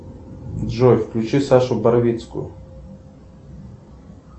джой включи сашу барвицкую